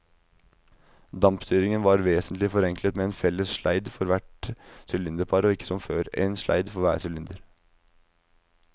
Dampstyringen var vesentlig forenklet med en felles sleid for hvert sylinderpar og ikke som før, en sleid for hver sylinder.